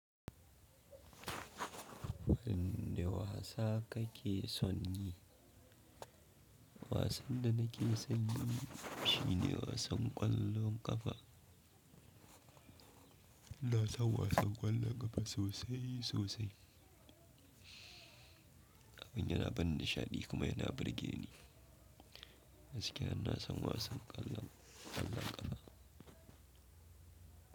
Wayanne wasa kake son yi? Wasan da nake son yi shine wasan ƙwallon ƙafa. iNa san wasan ƙwallon ƙafa sosai sosai. Abin yana bani nishaɗi kuma yana burge ni. Gaskiya ina san wasan ƙwallon ƙafa.